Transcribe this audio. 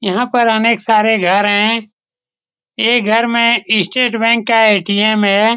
यहां पर अनेक सारे घर हैं ये घर में स्टेट बैंक का ए.टी.एम. है।